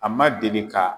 A ma deli ka